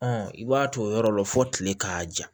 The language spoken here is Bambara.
Ɔn i b'a t'o yɔrɔ la fɔ kile k'a ja